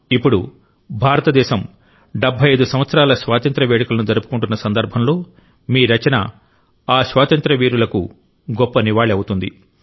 ఇప్పుడు భారతదేశం 75 సంవత్సరాల స్వాతంత్ర్య వేడుకలను జరుపుకుంటున్న సందర్భంలో మీ రచన ఆ స్వాతంత్ర్య వీరులకు గొప్ప నివాళి అవుతుంది